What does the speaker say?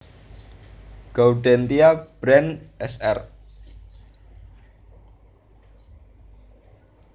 Gaudentia Brand Sr